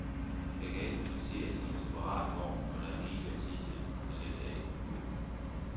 Bagagen placeres i en separat vogn, og der er rigelig af tid at læsse på og af.